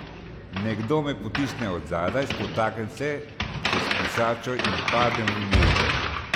Nekdo me potisne od zadaj, spotaknem se čez brisačo in padem v mivko.